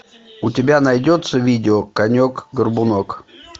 у тебя найдется видео конек горбунок